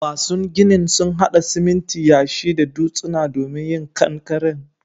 Masun ginin sun hada siminti, yashi da dutsuna domin yin ƙankaren.